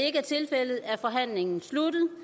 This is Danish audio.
ikke er tilfældet er forhandlingen sluttet